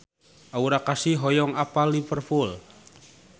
Aura Kasih hoyong apal Liverpool